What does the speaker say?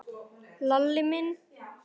Lalli minn?